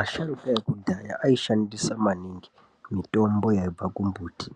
Asharukwa ekudhaya aishandisa maningi mitombo yaibva kumbuti.